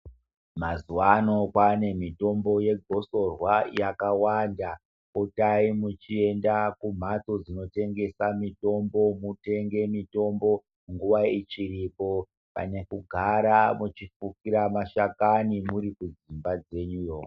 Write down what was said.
Mazuwa ano kwaane mitombo yegosorwa yakawanda potai muchienda kumhatso dzinotengesa mitombo mutenge muiombo nguwa ichiripo pane kugara muchifukira mashakana murikudzika kwenyuyo.